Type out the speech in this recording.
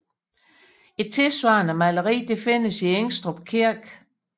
Et tilsvarende maleri findes i Ingstrup kirke